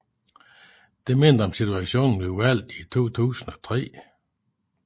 Det mindede om situationen ved valget i 2003